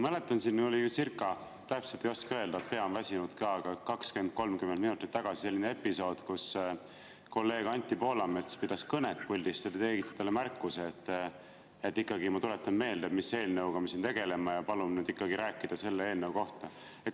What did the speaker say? Mäletan, siin oli – täpselt ei oska öelda, pea on väsinud ka – 20–30 minutit tagasi episood, kui kolleeg Anti Poolamets pidas puldist kõnet ja te tegite talle märkuse, et te tuletate meelde, mis eelnõuga me siin tegeleme, ja palute ikkagi rääkida selle eelnõu kohta.